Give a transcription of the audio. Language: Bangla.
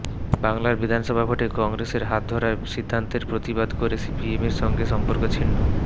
বাংলায় বিধানসভা ভোটে কংগ্রেসের হাত ধরার সিদ্ধান্তের প্রতিবাদ করে সিপিএমের সঙ্গে সম্পর্ক ছিন্ন